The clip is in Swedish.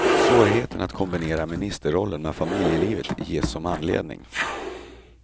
Svårigheten att kombinera ministerollen med familjelivet ges som anledning.